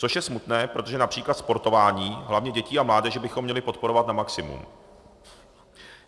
Což je smutné, protože například sportování, hlavně dětí a mládeže, bychom měli podporovat na maximum.